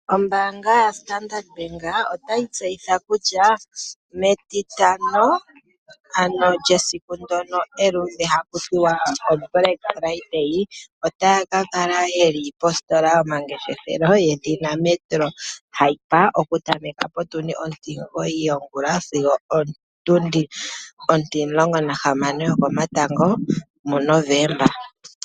Ombaanga yaStandard bank otayi tseyitha kutya metitano ano lyesiku ndjoka eluudhe ano haku tiwa oblack Friday otaya ka la yeli positola yomangeshefelo hayi ithanwa metro hyper okutameka ontimugoyi yongula sigo opo tundi mulomulongo nontihamano yokomatango.